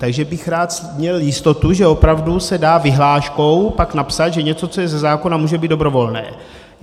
Takže bych rád měl jistotu, že opravdu se dá vyhláškou pak napsat, že něco, co je ze zákona, může být dobrovolné.